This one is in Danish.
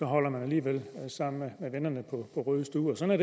holder man alligevel sammen med vennerne på rød stue sådan